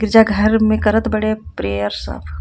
गिरजाघर में करत बाड़े प्रेयर सब .